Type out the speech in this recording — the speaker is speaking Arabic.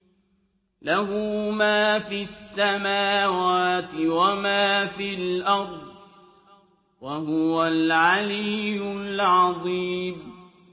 لَهُ مَا فِي السَّمَاوَاتِ وَمَا فِي الْأَرْضِ ۖ وَهُوَ الْعَلِيُّ الْعَظِيمُ